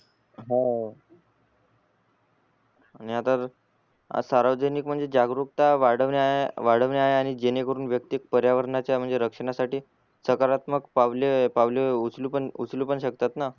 हव आता सार्वजनिक म्हणजे जागरुकता वाढवण्या वाढवण्यावरुण जेणे करून वैक्तिक पर्यावरणाच्या रक्षणासाठी सकरात्मक पावले पावले उचलू पण उचलू पण शकतात न